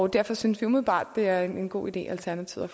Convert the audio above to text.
derfor synes vi umiddelbart det er en god idé alternativet